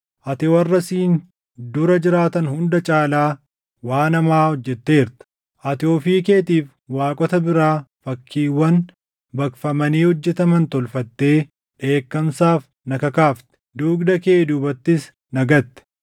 Ati warra siin dura jiraatan hunda caalaa waan hamaa hojjetteerta. Ati ofii keetiif waaqota biraa fakkiiwwan baqfamanii hojjetaman tolfattee dheekkamsaaf na kakaafte; dugda kee duubattis na gatte.